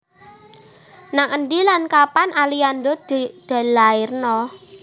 Nang endi lan kapan Aliando dilairno?